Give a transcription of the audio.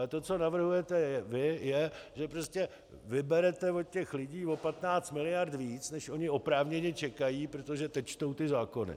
Ale to, co navrhujete vy, je, že prostě vyberete od těch lidí o 15 mld. víc, než oni oprávněně čekají, protože teď čtou ty zákony.